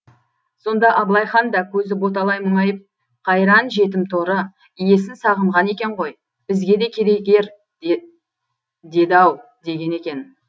сонда абылай хан да көзі боталай мұңайып қайран жетім торы иесін сағынған екен ғой бізге де керек ер деді ау деген екен